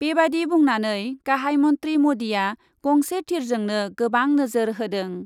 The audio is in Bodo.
बेबादि बुंनानै गाहाइ मन्थ्रि मदिआ गंसे थिरजोंनो गोबां नोजोर होदों ।